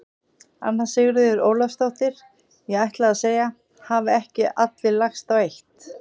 Anna Sigríður Ólafsdóttir: Ég ætlaði að segja: Hafa ekki allir lagst á eitt?